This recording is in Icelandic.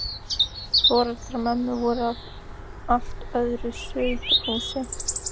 Foreldrar mömmu voru af allt öðru sauðahúsi.